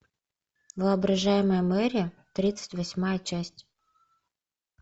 воображаемая мэри тридцать восьмая часть